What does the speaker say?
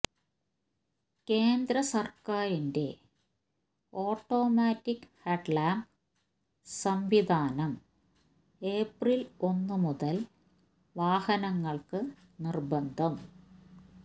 കേന്ദ്ര സർക്കാരിന്റെ automatic headlamp സംവിധാനം ഏപ്രിൽ ഒന്ന് മുതൽ വാഹനങ്ങൾക്ക് നിർബന്ധം